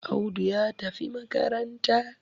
Audu ya tafi makaranta